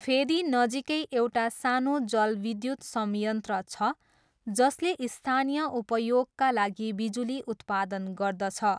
फेदीनजिकै एउटा सानो जलविद्युत संयन्त्र छ जसले स्थानीय उपयोगका लागि बिजुली उत्पादन गर्दछ।